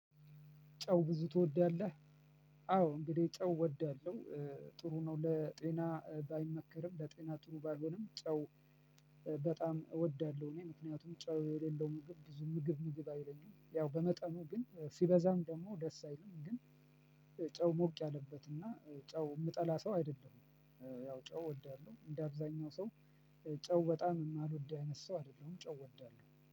ጨው ብዙ ትወዳለህ? አዎ እንግዲህ ጨው እወዳለሁ። ጥሩ ነው ለጤና ባይመከርም ለጤና ጥሩ ባይሆንም ጨው። በጣም እወዳለሁ እኔ ምክንያቱም ጨው የሌለው ምግብ ብዙ ምግብ ምግብ አይለኝም። ያው በመጠኑ ግን ሲበዛም ደግሞ ደስ አይልም። ግን ጨው ሞቅ ያለበትና ጨው የምጠላ ሰው አይደለም። ያው ጨው እወዳለሁ እንደ አብዛኛው ሰው። ጨው በጣም የማልወድ አይነት ሰው አይደለሁም ጨው እወዳለሁ